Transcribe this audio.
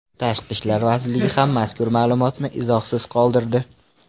Tashqi ishlar vazirligi ham mazkur ma’lumotni izohsiz qoldirdi.